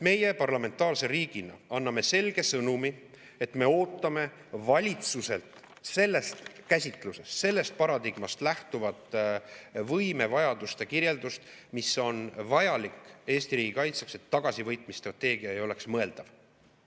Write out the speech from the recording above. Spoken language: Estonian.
Meie parlamentaarse riigina anname selge sõnumi, et me ootame valitsuselt sellest käsitlusest, sellest paradigmast lähtuvat võimevajaduste kirjeldust, mis on vajalik Eesti riigi kaitseks, et tagasivõitmise strateegia ei oleks mõeldav.